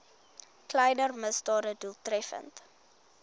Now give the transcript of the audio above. kleiner misdade doeltreffend